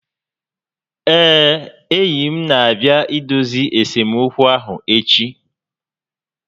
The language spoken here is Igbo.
Ee, enyi m n'abịa idozi esemokwu ahụ echi